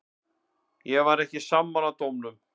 Ég var ekki sammála dómnum.